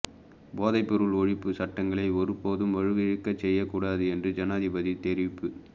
போதைப்பொருள் ஒழிப்பு சட்டங்களை ஒருபோதும் வலுவிழக்கச் செய்யக்கூடாது என்று ஜனாதிபதி தெரிவிப்பு